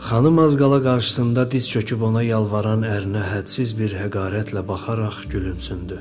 Xanım az qala qarşısında diz çöküb ona yalvaran ərinə hədsiz bir həqarətlə baxaraq gülümsündü.